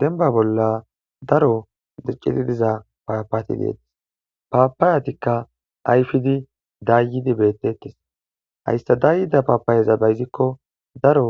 denba bolla daro dirciti diza paapati deetes paapaayatikka ayfidi dayyidi bettettes hayssa dayyida paapayeza ba yizikko daro